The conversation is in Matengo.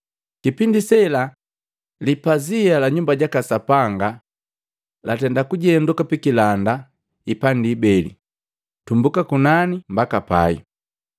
Kipindi sela, lipazia la Nyumba jaka Sapanga lakajuka pikilanda ipandi ibeli tumbuka kunani mbaka pai.